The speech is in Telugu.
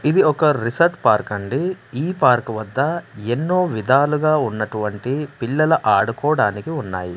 ఇది ఒక రిసార్ట్ పార్క్ అండి ఈ పార్క్ వద్ద ఎన్నో విధాలుగా ఉన్నటువంటి పిల్లల ఆడుకోడానికి ఉన్నాయి.